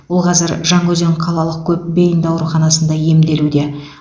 ол қазір жаңаөзен қалалық көпбейінді ауруханасында емделуде